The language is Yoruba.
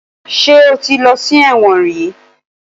Ṣé o ti lọ́ sí ẹ̀wọ̀n rìí?